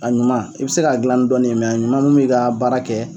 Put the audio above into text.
A ɲuman i bi se k'a gilan ni dɔnin ye mɛ ɲuman min be kan ka baara kɛ